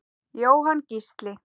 Jóhann Gísli.